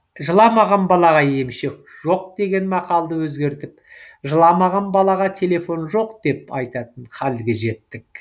жыламаған балаға емшек жоқ деген мақалды өзгертіп жыламаған балаға телефон жоқ деп айтатын хәлге жеттік